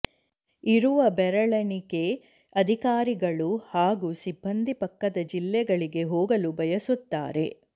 ಇರುವ ಬೆರಳೆಣಿಕೆ ಅಧಿಕಾರಿಗಳು ಹಾಗೂ ಸಿಬ್ಬಂದಿ ಪಕ್ಕದ ಜಿಲ್ಲೆಗಳಿಗೆ ಹೋಗಲು ಬಯಸುತ್ತಾರೆ